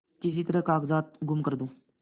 किसी तरह कागजात गुम कर दूँ